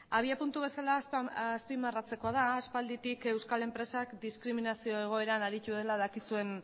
abiapuntu bezala azpimarratzekoa da aspalditik euskal enpresak diskriminazio egoeran aritu dela dakizuen